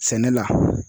Sɛnɛ la